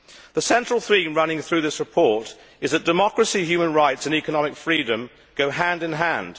The central theme running through this report is that democracy, human rights and economic freedom go hand in hand.